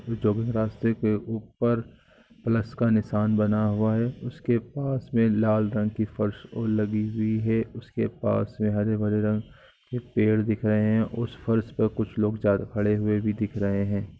यहाँ पर सफेद रंग का पर से रास्ता बना हुआ दिख रहा है जो भी रास्ते के प्लव का निसान बना हुआ है उस के लाल रंग की पत्थर लगी हुई है उस के पास हरे भरे पेड़ दिख रहे हैं उस पर कुछ लोग खड़े हुए भी दिख रहे हैं।